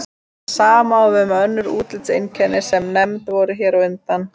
Það sama á við um önnur útlitseinkenni sem nefnd voru hér á undan.